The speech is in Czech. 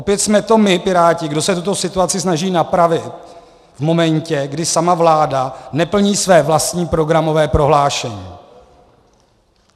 Opět jsme to my, Piráti, kdo se tuto situaci snaží napravit v momentě, kdy sama vláda neplní své vlastní programové prohlášení.